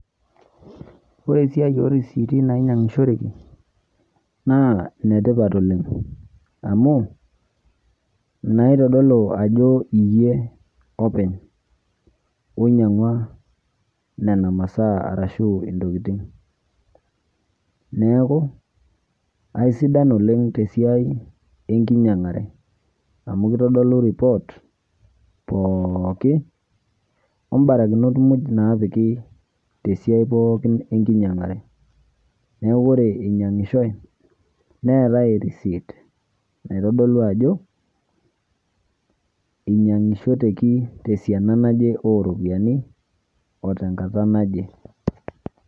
Ore esiai orisiti nainyangishoreki na netipat oleng, amu naitadolu ajo iyie openy ainyangua nona masaa ashu ntokitin, neaku aisidan oleng tesiai enkinyangare amu kitadolu ripot pookin ombarikinok muj napiki tesiai pookin enkinyangare neaku ore inyangishoe neetae naitodolu ajo inyangishoreki tesiana naje oropiyiani otenkata naje.